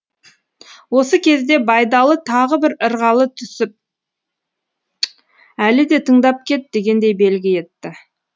осы кезде байдалы тағы бір ырғала түсіп әлі де тыңдап кет дегендей белгі етті